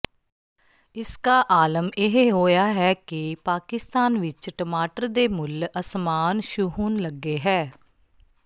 ਇਸਕਾ ਆਲਮ ਇਹ ਹੋਇਆ ਹੈ ਕਿ ਪਾਕਿਸਤਾਨ ਵਿੱਚ ਟਮਾਟਰ ਦੇ ਮੁੱਲ ਅਸਮਾਨ ਛੂਹਣ ਲੱਗੇ ਹੈ